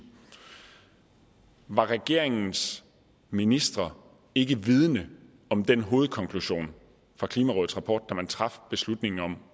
var regeringens ministre ikke vidende om den hovedkonklusion ud fra klimarådets rapport da man traf beslutningen om